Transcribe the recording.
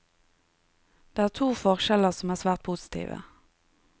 Det er to forskjeller som er svært positive.